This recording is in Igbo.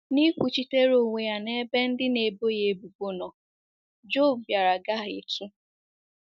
N’ịkwuchitere onwe ya n’ebe ndị na-ebo ya ebubo nọ, Job bịara gahietụ